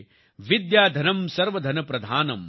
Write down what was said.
વિદ્યાધનં સર્વધનપ્રધાનમ્